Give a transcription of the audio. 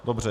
Dobře.